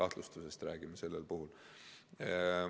Me räägime kahtlustusest.